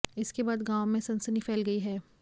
इसके बाद गांव में सनसनी फैल गई है